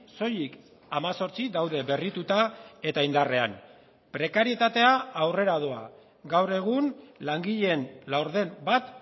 soilik hemezortzi daude berrituta eta indarrean prekarietatea aurrera doa gaur egun langileen laurden bat